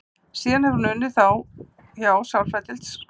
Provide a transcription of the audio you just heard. Síðan hefur hún unnið hjá sálfræðideild skóla.